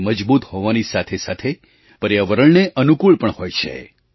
તે મજબૂત હોવાની સાથેસાથે પર્યાવરણને અનુકૂળ પણ હોય છે